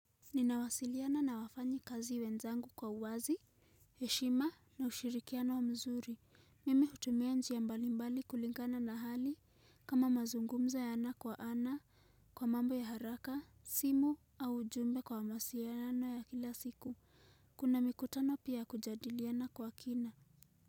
Ninawasiliana na wafanyi kazi wenzangu kwa uwazi, heshima na ushirikiano mzuri. Mimi hutumia njia mbalimbali kulingana na hali kama mazungumzo ya ana kwa ana kwa mambo ya haraka, simu au ujumbe kwa mawasiliano ya kila siku. Kuna mikutano pia ya kujadiliana kwa kina.